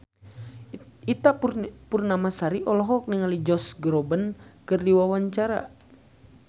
Ita Purnamasari olohok ningali Josh Groban keur diwawancara